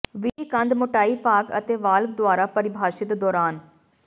ਵਿਧੀ ਕੰਧ ਮੋਟਾਈ ਭਾਗ ਅਤੇ ਵਾਲਵ ਦੁਆਰਾ ਪਰਿਭਾਸ਼ਿਤ ਦੌਰਾਨ